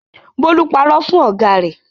Bólú parọ́ fún ọ̀gá rẹ̀.